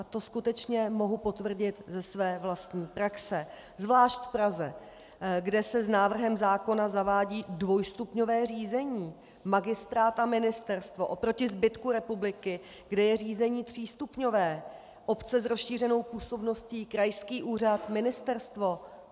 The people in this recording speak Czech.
A to skutečně mohu potvrdit ze své vlastní praxe, zvláště v Praze, kde se s návrhem zákona zavádí dvojstupňové řízení - magistrát a ministerstvo - oproti zbytku republiky, kde je řízení třístupňové: obce s rozšířenou působností, krajský úřad, ministerstvo.